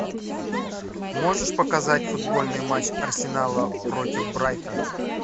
можешь показать футбольный матч арсенала против брайтона